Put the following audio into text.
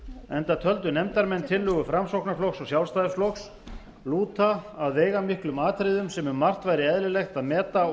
enda töldu nefndarmenn tillögu framsóknarflokks og sjálfstæðisflokks lúta að veigamiklum atriðum sem um margt væri eðlilegt að meta og